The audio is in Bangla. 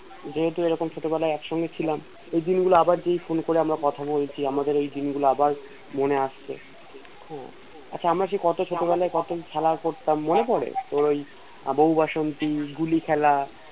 যেহেতু এরকম ছোটবেলায় একসঙ্গে ছিলাম ওইদিন গুলো আবার Phone করে আমরা কথা বলছি আমাদের ওইদিন গুলো আবার মনে আসছে আচ্ছা আমরা যে ছোটবেলায় যে কত খেলা করতাম মনে পরে ওই বউ বাসন্তী গুলি খেলা